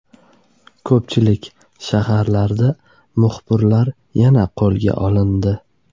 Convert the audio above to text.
Ko‘pchilik shaharlarda yana muxbirlar qo‘lga olindi.